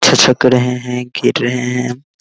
छिछक रहे हैं गिर रहे हैं।